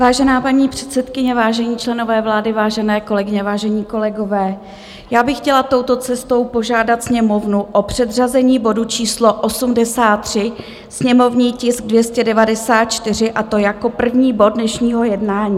Vážená paní předsedkyně, vážení členové vlády, vážené kolegyně, vážení kolegové, já bych chtěla touto cestou požádat Sněmovnu o předřazení bodu číslo 83, sněmovní tisk 294, a to jako první bod dnešního jednání.